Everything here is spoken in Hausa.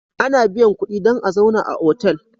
Ana biyan kudi dan a zauna a otal